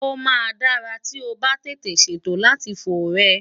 Ó maa dara ti o ba tete seto àti fo rę